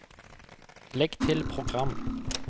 legg til program